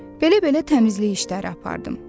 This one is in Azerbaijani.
Belə-belə təmizlik işləri apardım.